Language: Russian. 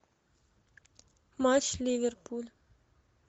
матч ливерпуль